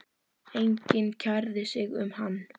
Enginn kærði sig um hann.